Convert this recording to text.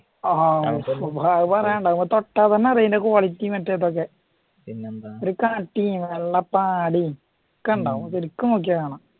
ആഹാ അത് പറയണ്ട തൊട്ടാൽ അതിൻറ്റെ quality യും മറ്റും ഒരു കട്ടിയും വെള്ള പാടയും ഒക്കെ ഉണ്ടാകും ശരിക്കും നോക്കിയാ കാണാം